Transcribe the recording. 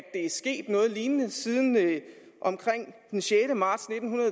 er sket noget lignende siden omkring den sjette marts nitten